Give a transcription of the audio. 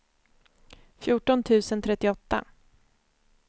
fjorton tusen trettioåtta